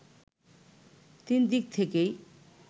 তিন দিক থেকেই